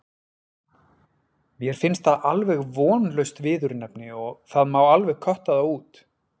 Mér finnst það alveg vonlaust viðurnefni og það má alveg kötta það út.